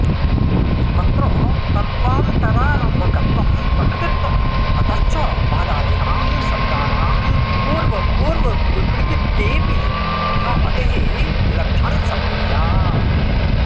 अत्र तत्त्वान्तरारम्भकत्वं प्रकृतित्वम् अतश्च महदादीनां सप्तानां पूर्वपूर्वविकृतित्वेऽपि न अतिः लक्षणसमन्वयात्